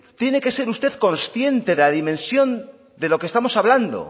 tiene que ser usted consciente de la dimensión de lo que estamos hablando